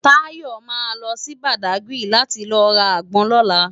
Tayo má lò si Bádágiri láti lò rá ágbòn lòlá